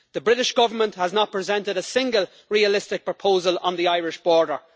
The British Government has not presented a single realistic proposal on the Irish border.